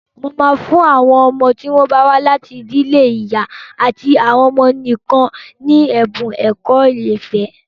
Mo máa fún àwọn ọmọ tí wọ́n bá wá láti àwọn ìdílé ìyá àti ọmọ nìkan ní ẹ̀bun ẹ̀kọ́ ọ̀fẹ́.